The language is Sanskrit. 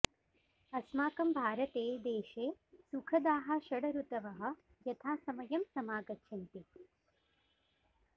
अस्माकम् भारते देशे सुखदाः षड् ऋतवः यथासमयम् समागच्छन्ति